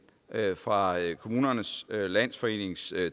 fra kommunernes landsforenings